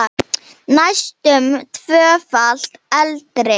Næstum tvöfalt eldri.